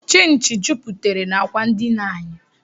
Chịnchị juputere n'akwa ndina anyị